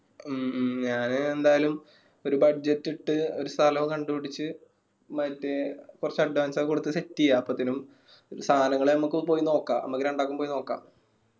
മ്മ് ഞാൻ എന്തായാലും ഒരു budget ഇട്ട് ഒരു സ്ഥലോം കണ്ടു പിടിച്ച് മറ്റേ കൊർച് advance ഒക്കെ കൊടുത്ത് set എയ്യ അപ്പത്തെനും സാമാനങ്ങൾ ഞമ്മക്ക് പോയി നോക്ക നമ്മക്ക് രണ്ടാക്കും പോയി നോക്ക.